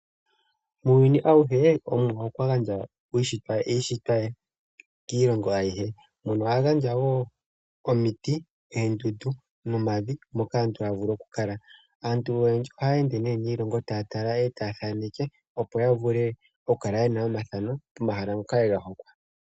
Muuyuni awuhe ,Omuwa okwa gandja iishitwa ye kiilongo ayihe, mono a gandja wo omiti, oondundu, omavi moka aantu haya vulu oku kala. aantu oyendji ohaya ende nee niilongo taya tala, etaya thaneke opo ya vule oku kala yena omathano goma hala ngoka ye ga hokwa.